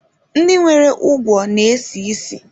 Ndị nwere ugwo na-esi ísì.